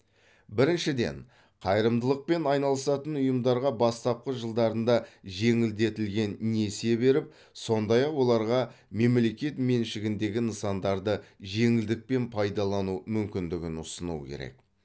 біріншіден қайырымдылықпен айналысатын ұйымдарға бастапқы жылдарында жеңілдетілген несие беріп сондай ақ оларға мемлекет меншігіндегі нысандарды жеңілдікпен пайдалану мүмкіндігін ұсыну керек